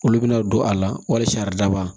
Olu bɛna don a la walisa araba